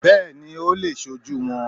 Bẹ́ẹ̀ni ó le è sojú won